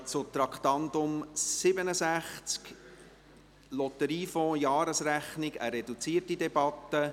Wir kommen zu Traktandum 67, Lotteriefonds, Jahresrechnung; eine reduzierte Debatte.